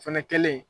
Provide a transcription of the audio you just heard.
O fɛnɛ kɛlen